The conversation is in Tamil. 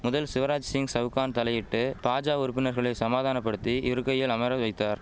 முதல் சிவராஜ் சிங் சவுக்கான் தலையிட்டு பாஜா உறுப்பினர்களை சமாதானபடுத்தி இருக்கையில் அமரவைத்தார்